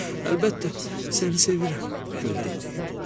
Əlbəttə, səni sevirəm, gül dedi.